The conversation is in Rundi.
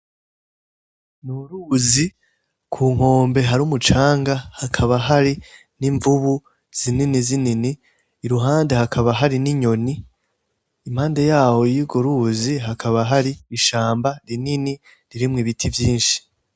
N'uruzi kunkombe rufise umucanga hakaba hari n'imvubu zinini zinini iruhande hakaba hari n'inyoni ,impande yaho y'urwo ruzi hakaba hari ishamba rinini ririmwo ibiti vyishi